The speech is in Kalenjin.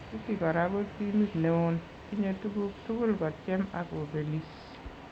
City kora ko timit neon ,tinye tukuk tukul kotyem ak kobelis.